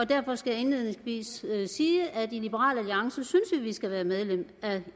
derfor skal jeg indledningsvis sige at vi i liberal alliance synes at vi skal være medlem af